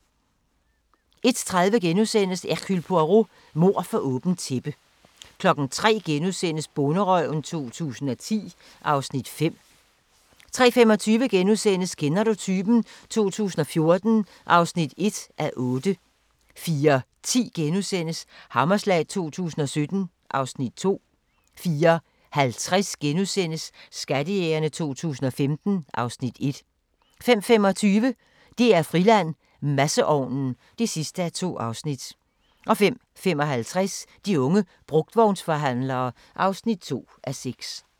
01:30: Hercule Poirot: Mord for åbent tæppe * 03:00: Bonderøven 2010 (Afs. 5)* 03:25: Kender du typen? 2014 (1:8)* 04:10: Hammerslag 2017 (Afs. 2)* 04:50: Skattejægerne 2015 (Afs. 1)* 05:25: DR-Friland: Masseovnen (2:2) 05:55: De unge brugtvognsforhandlere (2:6)